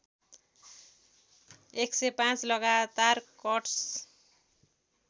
१०५ लगातार कट्स